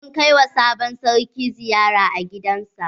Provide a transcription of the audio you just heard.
Mun kai wa sabon sarki ziyara a gidan sa.